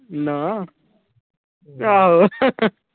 ਨਾਮ ਆਹੋ ।